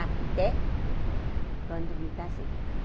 Até quando me casei.